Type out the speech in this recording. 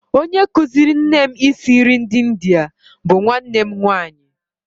Onye kụziiri nne m isi nri ndị India bụ nwanne nwaanyị